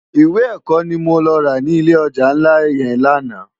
Iwé èkò ni mó lò rá ni ilé òjá nlá yèn làná